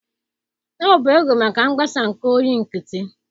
Ọ bụ oge maka mgbasa nke oyi nkịtị